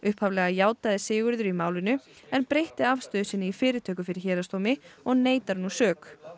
upphaflega játaði Sigurður sök í málinu en breytti afstöðu sinni í fyrirtöku fyrir héraðsdómi og neitar nú sök